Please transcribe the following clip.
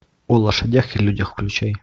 о лошадях и людях включай